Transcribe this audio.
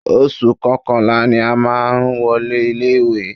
Oṣù kọkànlá ni a má a wọlé ilé ìwé.